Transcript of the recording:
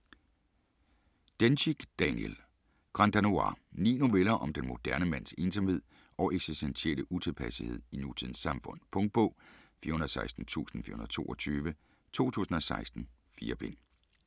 Dencik, Daniel: Grand danois Ni noveller om den moderne mands ensomhed og eksistentielle utilpassethed i nutidens samfund. Punktbog 416422 2016. 4 bind.